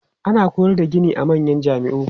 Ana koyar da gini a manyan jami'u.